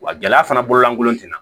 Wa gɛlɛya fana bolo lankolon tɛna